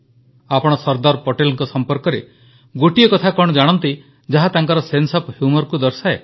ଆପଣ ସର୍ଦ୍ଦାର ପଟେଲଙ୍କ ସମ୍ପର୍କରେ ଗୋଟିଏ କଥା କଣ ଜାଣନ୍ତି ଯାହା ତାଙ୍କର ସେନ୍ସେ ଓଏଫ୍ humourକୁ ଦର୍ଶାଏ